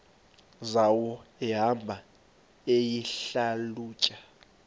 zawo ehamba eyihlalutya